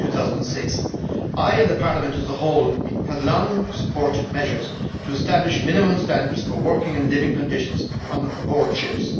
2006. I, and the Parliament as whole, have long supported measures to establish minimum standards for working and living conditions on board ships.